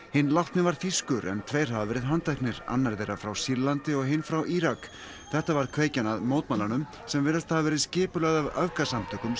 hinn látni var þýskur en tveir hafa verið handteknir annar þeirra frá Sýrlandi og hinn frá Írak þetta varð kveikjan að mótmælunum sem virðast hafa verið skipulögð af öfgasamtökum sem